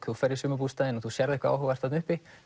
þú ferð í sumarbústaðinn og sérð eitthvað áhugavert þarna uppi